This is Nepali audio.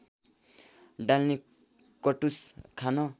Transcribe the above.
डाल्ने कटुस खान